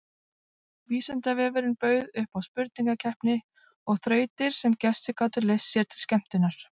Vísindavefurinn bauð upp á spurningakeppni og þrautir sem gestir gátu leyst sér til skemmtunar.